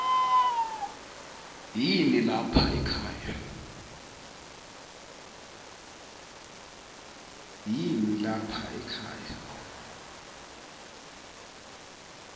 yini lapha ekhaya